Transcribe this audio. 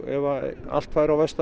ef allt færi á versta